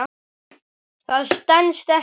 Það stenst ekki.